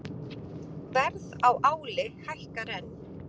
Verð á áli hækkar enn